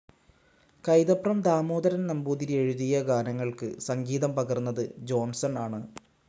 കൈതപ്രം ദാമോദരൻ നമ്പൂതിരി എഴുതിയ ഗാനങ്ങൾക്ക് സംഗീതം പകർന്നത് ജോൺസൺ ആണ്.